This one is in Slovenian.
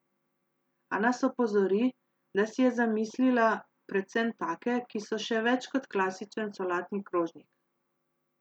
A nas opozori, da si je zamislila predvsem take, ki so še več kot klasičen solatni krožnik.